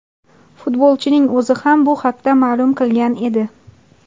Futbolchining o‘zi ham bu haqda ma’lum qilgan edi.